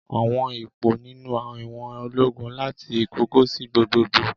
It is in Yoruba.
Àwọn ipò nínú ìwọ̀n ológun láti ìkọ̀kọ̀ sí gbogbogbò.